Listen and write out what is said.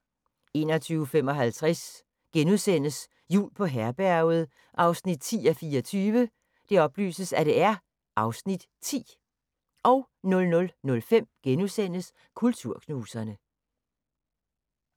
21:55: Jul på Herberget 10:24 (Afs. 10)* 00:05: Kulturknuserne *